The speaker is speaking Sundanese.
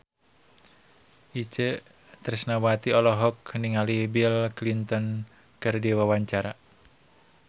Itje Tresnawati olohok ningali Bill Clinton keur diwawancara